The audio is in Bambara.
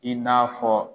I n'a fɔ